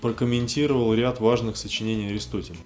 прокомментировал ряд важных сочинений аристотеля